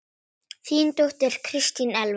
Þín dóttir, Kristín Elfa.